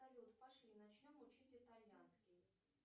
салют пошли начнем учить итальянский